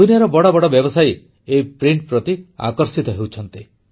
ଦୁନିଆର ବଡ଼ ବଡ଼ ବ୍ୟବସାୟୀ ଏହି ପ୍ରିଣ୍ଟ ପ୍ରତି ଆକର୍ଷିତ ହେଉଛନ୍ତି